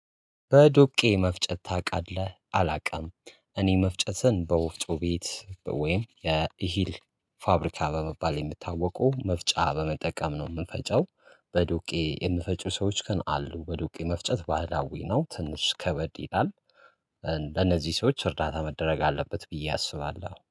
በዶቄ መፍጨት ታውቃለህ አላውቅም። እኔ መፍጨትን በወፍጮ ቤት ወይም የኢሂል ፋብሪካ በመባል የምታወቀው መፍጫ በመጠቀም ነው የምንፈጨው። በዱቄ የምፈጩ ሰዎች ግን አሉ በዱቄ መፍጨት ባህላዊ ነው ትንሽ ከበድ ይላል። ለነዚህ ሰዎች እርዳታ መደረግ አለበት ብዬ አስባለሁ